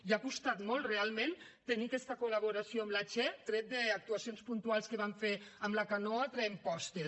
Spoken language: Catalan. i ha costat molt realment tenir aquesta col·laboració amb la che tret d’actuacions puntuals que van fer amb la canoa traient postes